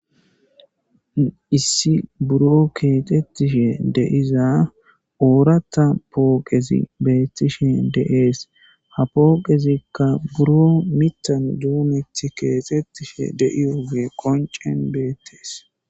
Issi buro kexetishe de'iza oratha poqezi betishe de'es. Ha poqezikka buro miiththan domethi kexetishe de'iyo ogey konc'en beetes.